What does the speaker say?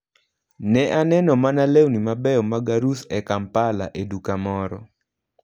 Ne aneno mana lewni mabeyo mag arus e Kampala e duka moro.